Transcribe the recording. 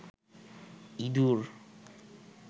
ইদুর